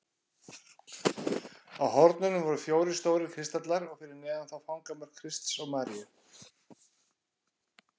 Á hornunum voru fjórir stórir kristallar og fyrir neðan þá fangamörk Krists og Maríu.